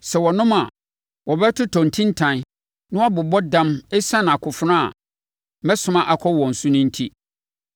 Sɛ wɔnom a, wɔbɛtɔ ntintan na wɔabobɔ dam ɛsiane akofena a mɛsoma akɔ wɔn so no enti.”